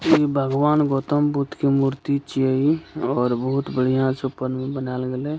ई भगवान गौतम बुद्ध के मूर्ति छीये इ और बहुत बढ़ियाँ से ऊपर मे बनैएल गैले इ --